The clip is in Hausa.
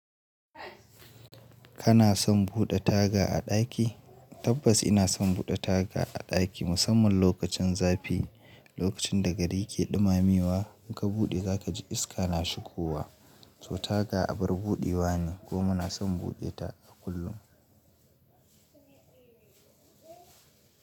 Kana son buɗe taga a ɗaki? Tabbas ina son buɗe taga a ɗaki, musamman lokacin zafi. Lokacin da gari ke ɗumamewa, in ka buɗe za ka ji iska na shigowa. To taga abar buɗewa ne kuma ina son buɗe ta a kullum.